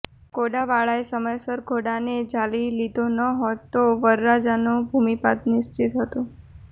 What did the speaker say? ઘોડાવાળાએ સમયસર ઘોડાને ઝાલી લીધો ન હોત તો વરરાજાનો ભૂમિપાત નિશ્ચિત હતો